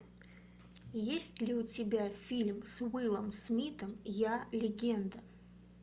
есть ли у тебя фильм с уиллом смитом я легенда